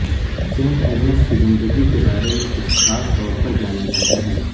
Saint Agnes کی زندگی کے بارے میں کچھ خاص طور پر جانا جاتا ہے